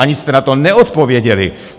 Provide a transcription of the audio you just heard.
Ani jste na to neodpověděli!